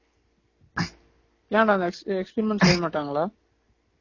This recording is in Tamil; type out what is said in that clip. ஏன்டா next next experiment செய்ய மாட்டாங்களா